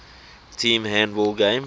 team handball game